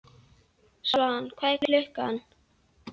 Svan, hvað er klukkan?